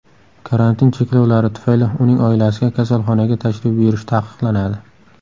Karantin cheklovlari tufayli uning oilasiga kasalxonaga tashrif buyurish taqiqlanadi.